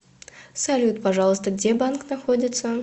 салют пожалуйста где банк находится